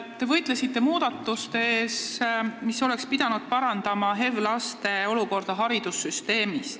Te võitlesite muudatuste eest, mis oleks pidanud parandama HEV-laste olukorda haridussüsteemis.